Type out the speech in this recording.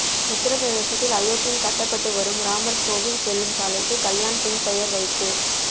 உத்தரப்பிரதேசத்தில் அயோத்தியில் கட்டப்பட்டு வரும் ராமர் கோவில் செல்லும் சாலைக்கு கல்யாண் சிங் பெயர் வைப்பு